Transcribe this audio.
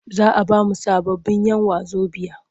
Za a ba mu sababbin'yan wazobiya.